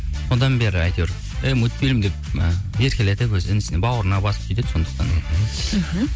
содан бері әйтеуір әй мульфильм деп і еркелетіп өздері бауырына басып сөйтеді сондықтан мхм